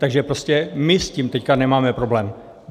Takže prostě my s tím teď nemáme problém.